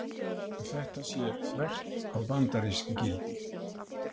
Þetta sé þvert á bandarísk gildi